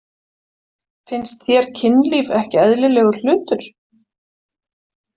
Finnst þér kynlíf ekki eðlilegur hlutur?